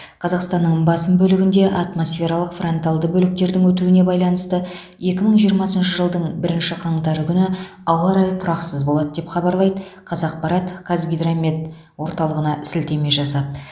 қазақстанның басым бөлігінде атмосфералық фронталды бөліктердің өтуіне байланысты екі мың жиырмасыншы жылдың бірінші қаңтар күні ауа райы тұрақсыз болады деп хабарлайды қазақпарат қазгидромет орталығына сілтеме жасап